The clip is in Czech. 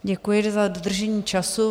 Děkuji za dodržení času.